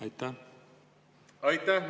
Aitäh!